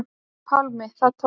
Pálmi: Og það tókst?